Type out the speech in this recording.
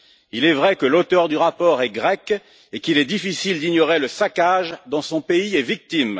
Il est vrai que l'auteur du rapport est grec et qu'il est difficile d'ignorer le saccage dont son pays est victime.